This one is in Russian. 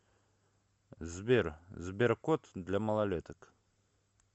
сбер сберкот для малолеток